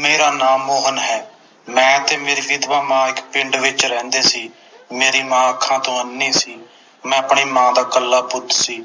ਮੇਰਾ ਨਾਮ ਮੋਹਨ ਹੈ ਮੈਂ ਤੇ ਮੇਰੀ ਵਿਧਵਾ ਮਾਂ ਇਕ ਪਿੰਡ ਵਿਚ ਰਹਿੰਦੇ ਸੀ ਮੇਰੀ ਮਾਂ ਅੱਖਾਂ ਤੋਂ ਅੰਨ੍ਹੀ ਸੀ ਮੈਂ ਆਪਣੀ ਮਾਂ ਦਾ ਇੱਕਲਾ ਪੁੱਤ ਸੀ